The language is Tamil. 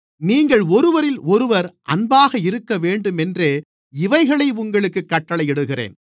நீங்கள் ஒருவரிலொருவர் அன்பாக இருக்கவேண்டுமென்றே இவைகளை உங்களுக்குக் கட்டளையிடுகிறேன்